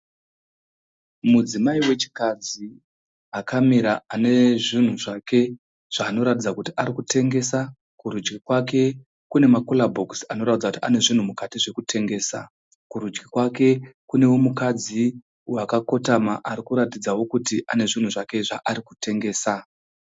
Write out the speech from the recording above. Mudzimai wechikadzi akamira ane zvinhu zvake zvaanoratidza kuti arikutengesa. Kurudyi kwake kune ma cooler box anoratidza kuti ane zvunhu mukati zve kutengesa. Kurudyi kwake Kune munhu wechikadzi akakotama ari kuratidzawo kuti ane zvinhu zvake zvaari kutengesa.